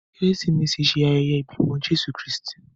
Keresimesi ṣe ayẹyẹ ibimọ Jesu Kristi.